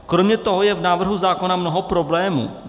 Kromě toho je v návrhu zákona mnoho problémů.